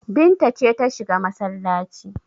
Binta ce ta shiga masallaci.